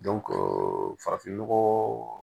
farafin nɔgɔ